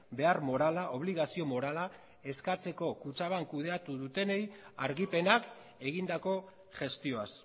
behar morala obligazio morala eskatzeko kutxabank kudeatu dutenei argipenak egindako gestioaz